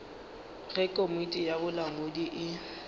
ge komiti ya bolamodi e